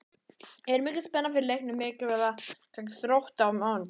Er mikil spenna fyrir leiknum mikilvæga gegn Þrótti á mánudag?